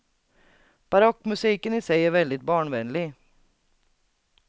Barockmusiken i sig är väldigt barnvänlig.